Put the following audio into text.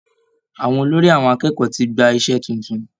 Àwọn olórí àwọn akẹ́kọ̀ọ́ tí gba ìṣe titun.